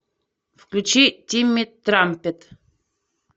включи тимми трампет